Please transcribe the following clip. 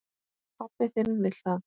Pabbi þinn vill það.